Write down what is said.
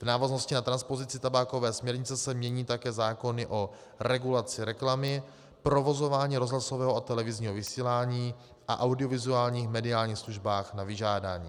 V návaznosti na transpozici tabákové směrnice se mění také zákony o regulaci reklamy, provozování rozhlasového a televizního vysílání a audiovizuálních mediálních službách na vyžádání.